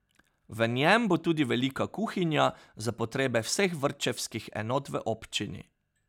V njem bo tudi velika kuhinja za potrebe vseh vrtčevskih enot v občini.